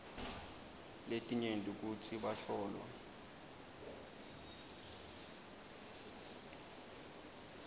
letinyenti kutsi bahlolwa